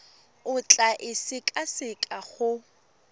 o tla e sekaseka go